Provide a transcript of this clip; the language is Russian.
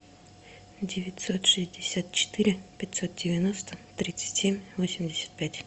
девятьсот шестьдесят четыре пятьсот девяносто тридцать семь восемьдесят пять